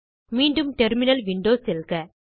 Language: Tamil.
மீண்டும் டெர்மினல் விண்டோ செல்க